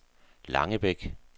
Langebæk